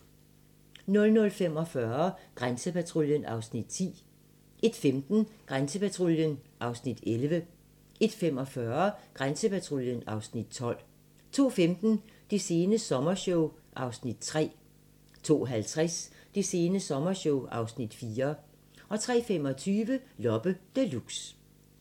00:45: Grænsepatruljen (Afs. 10) 01:15: Grænsepatruljen (Afs. 11) 01:45: Grænsepatruljen (Afs. 12) 02:15: Det sene sommershow (Afs. 3) 02:50: Det sene sommershow (Afs. 4) 03:25: Loppe Deluxe